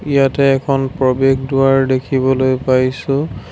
ইয়াতে এখন প্ৰৱেশ দুৱাৰ দেখিবলৈ পাইছোঁ।